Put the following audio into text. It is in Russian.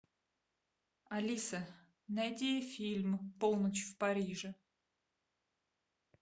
алиса найти фильм полночь в париже